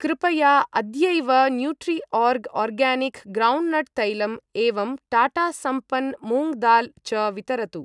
कृपया अद्यैव Nutriorg organic groundnut तैलम् एवं टाटा सम्पन् मूङ्ग् दाल् च वितरतु।